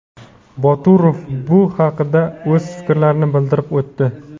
Boturov bu haqida o‘z fikrlarini bildirib o‘tdi.